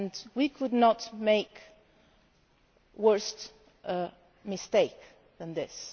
We could not make a worse mistake than this.